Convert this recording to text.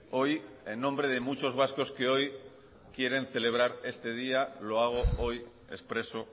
hoy en nombre de muchos vascos que hoy quieren celebrar este día lo hago hoy expreso